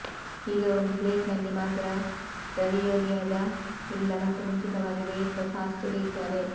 ಈಗ ಒಂದು ಪ್ಲೇಟ್ ನಲ್ಲಿ ಮಾತ್ರ ರವಿಯೊಲಿಯಾದ ಇಲ್ಲ ಮತ್ತು ಮುಂಚಿತವಾಗಿ ಬೇಯಿಸಿದ ಸಾಸ್ ಸುರಿಯುತ್ತಾರೆ